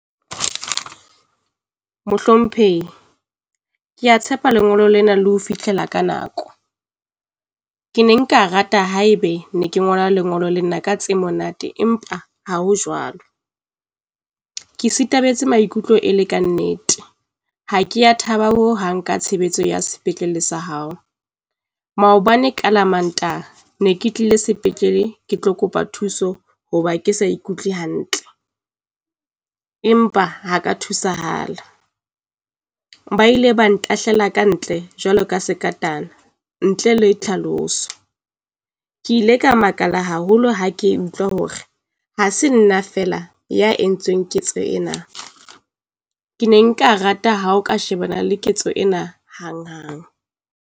Mohlomphehi, ke a tshepa lengolo lena le ho fihlela ka nako. Ke ne nka rata haebe ne ke ngola lengolo le nna ka tse monate, empa ha ho jwalo. Ke sithabetse maikutlo e le ka nnete, ha kea thaba ho hang ka tshebetso ya sepetlele sa hao. Maobane ka la Mantaha ne ke tlile sepetlele, ke tlo kopa thuso hoba ke sa ikutlwe hantle empa ha ka thusahala. Ba ile ba ntahlela kantle jwalo ka sekatana ntle le tlhaloso. Ke ile ka makala haholo ha ke utlwa hore ha se nna fela ya entsweng ketso ena. Ke ne nka rata ha o ka shebana le ketso ena hanghang.